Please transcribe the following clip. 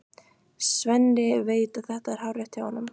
Svenni veit að þetta er hárrétt hjá honum.